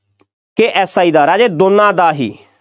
ਅਤੇ SI ਦਾ ਰਾਜੇ ਦੋਨਾ ਦਾ ਹੀ,